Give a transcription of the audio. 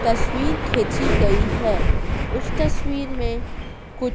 तस्वीर खेची गई है। उस तस्वीर में कुछ--